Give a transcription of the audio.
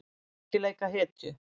Ekki leika hetju